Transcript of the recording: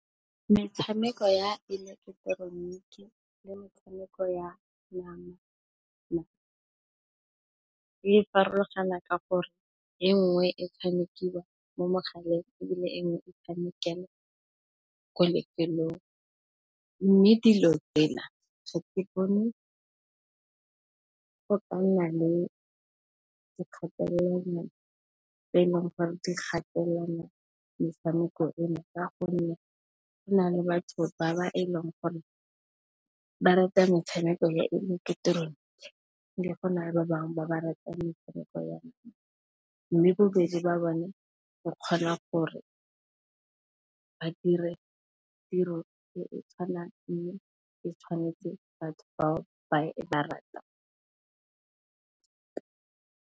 Metshameko ya ileketeroniki le metshameko ya nama e farologana ka gore e nngwe e tshamekiwa mo mogaleng ebile, e nngwe e tshamekelwa ko lefelong. Mme, dilo tsela ga ke bone go ka nna le dikgatelelo tse e leng gore di gatelela metshameko eno ka gonne, go na le batho ba e leng gore ba rata metshameko ya ileketeroniki, go na le ba bangwe ba ba ratang metshameko ya nama. Mme, bobedi ba bone ba kgona gore ba dire tiro e e tshwanang, e tshwanetseng batho bao ba e ratang.